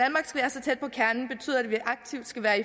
at vi aktivt skal være i